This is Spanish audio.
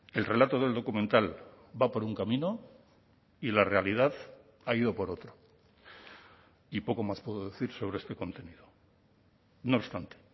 el relato del documental va por un camino y la realidad ha ido por otro y poco más puedo decir sobre este contenido no obstante